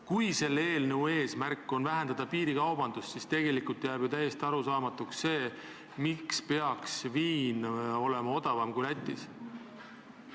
Kui selle eelnõu eesmärk on vähendada piirikaubandust, siis on ju täiesti arusaamatu, miks peaks meil viin olema odavam kui Lätis.